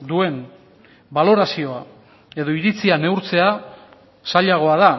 duen balorazioa edo iritzia neurtzea zailagoa da